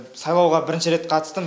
сайлауға бірінші рет қатыстым